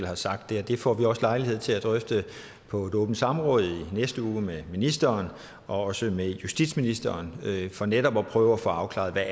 har sagt det og det får vi også lejlighed til at drøfte på et åbent samråd i næste uge med ministeren og også med justitsministeren for netop at prøve at få afklaret hvad